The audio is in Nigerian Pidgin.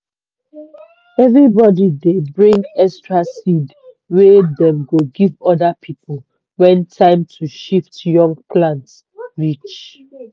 everybody dey bring extra seed wey dem go give other people when time to shift young plant reach.